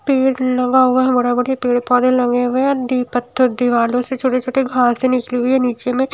पेड़ लगा हुआ बड़े बड़े पेड़ पौधे लगे हुए और दीवारों से छोटे छोटे घास से निकले हुए नीचे में--